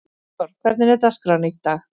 Bergþór, hvernig er dagskráin í dag?